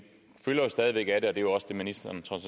stadig væk af det og det er også det ministeren trods